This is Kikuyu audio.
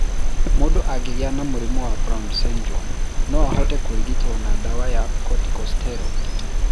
Mũndũ angĩgĩa na mũrimũ wa Brown syndrome no ahote kũrigitũo na ndawa ya corticosteroid.